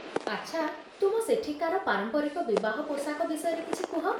ଆଚ୍ଛା, ତୁମ ସେଠିକାର ପାରମ୍ପରିକ ବିବାହ ପୋଷାକ ବିଷୟରେ କିଛି କୁହ